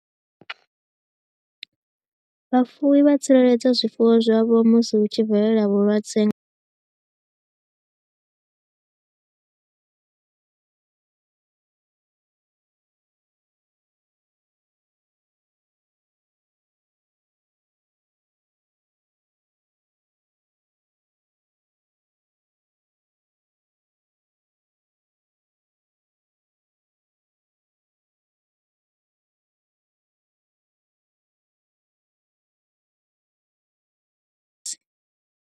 Vhafuwi vha tsireledza zwifuwo zwavho musi hu tshi velela vhulwadze.